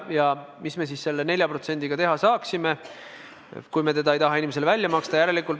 Ja mis me selle 4%-ga teha saaksime, kui me ei taha seda inimestele välja maksta?